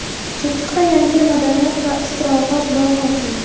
Chirchiqda yangi madaniyat va istirohat bog‘i ochildi.